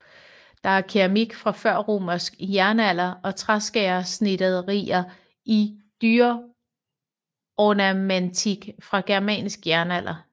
Der er keramik fra Førromersk jernalder og træskærersnitterier i dyreornamentik fra Germansk jernalder